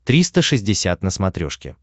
триста шестьдесят на смотрешке